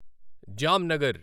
Jamnagar